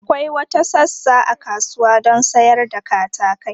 Akwai wata sassa a kasuwa don sayar da katakai.